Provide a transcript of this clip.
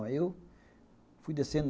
Aí eu fui descendo.